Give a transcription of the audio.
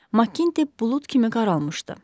Maqint e bulud kimi qaralmışdı.